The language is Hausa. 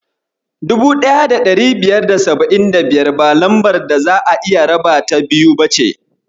1575 ba lambar da za'a iya rabata biyu ba ce.